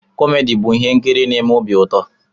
Komedi bụ ihe nkiri n'eme obi ụtọ.